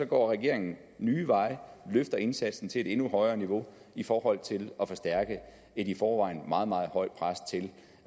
går regeringen nye veje og løfter indsatsen til et endnu højere niveau i forhold til at forstærke et i forvejen meget meget højt pres til